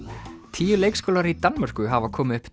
tíu leikskólar í Danmörku hafa komið upp